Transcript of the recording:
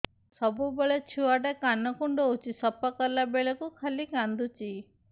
ସବୁବେଳେ ଛୁଆ ଟା କାନ କୁଣ୍ଡଉଚି ସଫା କଲା ବେଳକୁ ଖାଲି କାନ୍ଦୁଚି